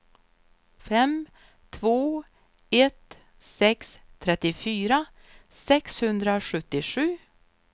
fem två ett sex trettiofyra sexhundrasjuttiosju